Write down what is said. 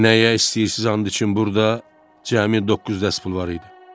Nəyə istəyirsiz and üçün, burda cəmi doqquz dəst pul var idi.